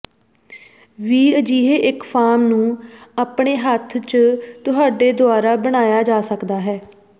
ਵੀ ਅਜਿਹੇ ਇੱਕ ਫਾਰਮ ਨੂੰ ਆਪਣੇ ਹੱਥ ਝ ਤੁਹਾਡੇ ਦੁਆਰਾ ਬਣਾਇਆ ਜਾ ਸਕਦਾ ਹੈ